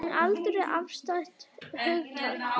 En aldur er afstætt hugtak.